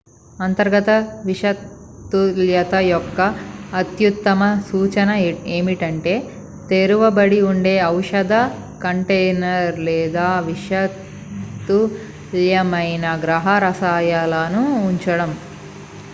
అంతర్గత విషతుల్యత యొక్క అత్యుత్తమ సూచన ఏమిటంటే తెరువబడి ఉండే ఔషధ కంటైనర్ లేదా విషతుల్యమైన గృహ రసాయనాలు ఉండటం